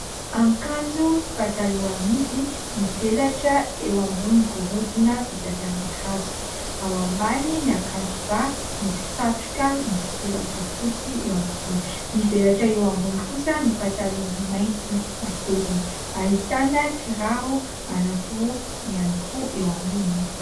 Akanjo sy pataloha amidy mivelatra eo ambonin'ny gorodona vita avy amin'ny hazo. Ao ambany ny ankanjoba misy satroka misy soratra fotsy eo ampovoany. Mivelatra eo ambony kosa ny pataloha mainty matevina. Ahitana kiraro anankiroa ihany koa eo amboniny.